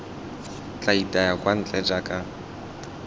tla itaya kwa ntle jaaka